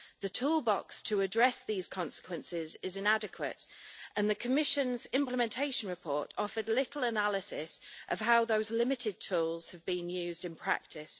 The toolbox to address these consequences is inadequate, and the Commission's implementation report offered little analysis of how those limited tools have been used in practice.